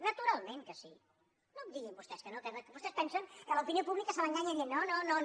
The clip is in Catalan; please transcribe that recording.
naturalment que sí no em diguin vostès que no que vostès pensen que a l’opinió pública se l’enganya dient no no no no